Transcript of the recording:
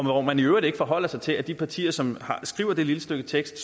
hvor man i øvrigt ikke forholder sig til at de partier som skriver det lille stykke tekst